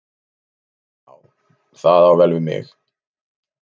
Já, það á vel við mig.